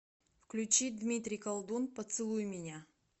включи дмитрий колдун поцелуй меня